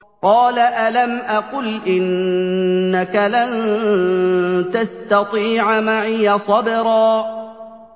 قَالَ أَلَمْ أَقُلْ إِنَّكَ لَن تَسْتَطِيعَ مَعِيَ صَبْرًا